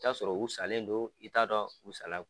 ta sɔrɔ u salen don ,i t'a dɔn u sa la